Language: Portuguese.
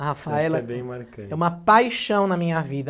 A Rafaela... Que é bem marcante, é uma paixão na minha vida.